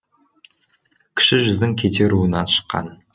кіші жүздің кете руынан шыққан